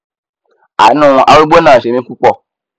àánú arúgbó náà ṣe mí púpọ